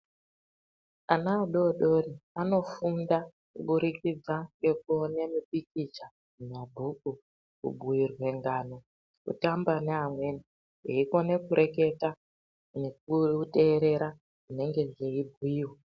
Ana adodori anofunda kubudikidza ngekuone mipikicha mumabhuku. Kubhuirwe ngano kutamba neamweni veikone kureketa nekuterera zvinenge zveibhuirwa.